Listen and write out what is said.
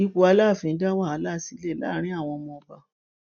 ipò aláàfin dá wàhálà sílẹ láàrin àwọn ọmọọba